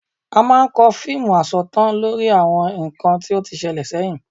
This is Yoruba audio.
A máa ń kọ fíìmù asọ̀tàn lórí àwọn nǹkan tí ó ti ṣẹlẹ̀ sẹ́yìn